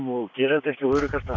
og gera þetta ekki á öruggasta